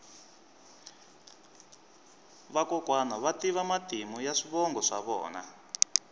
vakokwani va tiva matimu ya swivongo swa vona